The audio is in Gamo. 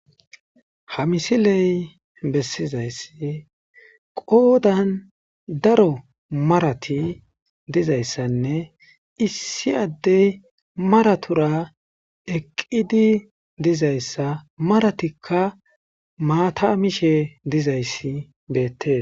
ha misiley bessizayssi qoodan daro marati dizayssanne issi addey maratura eqqidi dizayssa maratikka maata mishe dizayssi beettees